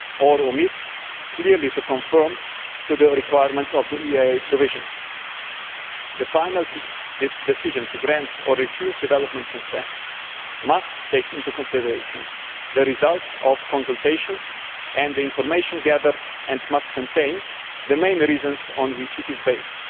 or omit clearly to conform to the requirements of the EIA provisions. The final decision to grant or refuse development consent must take into consideration the results of consultations and the information gathered and must contain the main reasons on which it is based.